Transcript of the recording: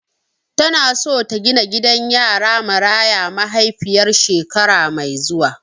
Tana so ta gina gidan yara Maraya mahaifiyar shekara mai zuwa.